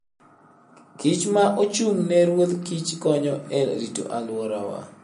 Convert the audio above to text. kich ma ochung'ne ruodh kich konyo e rito alworawa.